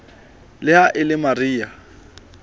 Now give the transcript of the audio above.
le ha e le mariha